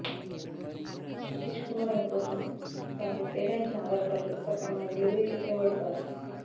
సతీష్కుమార్ అనే పోస్టుమాన్ తనకు కేటాయించిన ఆధార్ కార్డులు సక్రమంగా డెలివరీ చేసేవాడుకాదు